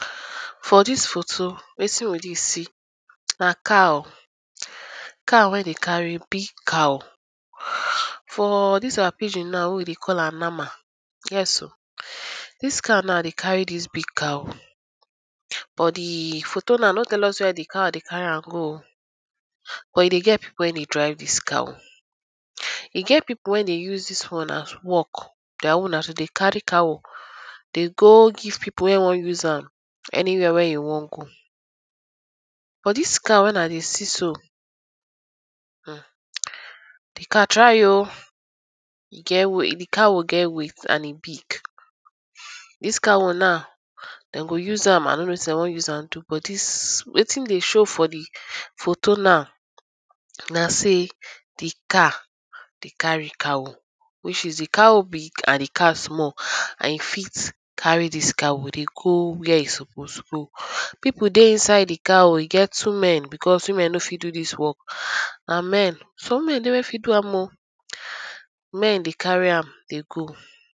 For dis photo wetin we dey see na car, car wey dey carry big cow for dis our pigin now wey we dey call am mama, yes oh, dis car now dey carry dis big cow but di photo now no tell us wey di car dey carry am go oh, but e dey get pipu wey dey drive dis cow, e get pipu wey dey use am as work dia own na to dey carry cow dey go give pipu wey wan use am any where wey e wan go. But dis cow wey I dey see so, di car try oh e get weight, di cow get weight and e big. Dis cow now dem go use am I no know wetin dem wan use am do but dis, wetin dey show for di photo now na sey di car dey carry cow which is di cow big and di car small and e fit carry dis cow dey go where e suppose go. Pipu dey inside di car e get two men becos women no fit do dis work na men some women dey wey fit do am oh, na men men dey carry am dey go.